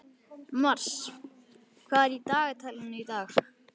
Mars, hvað er í dagatalinu í dag?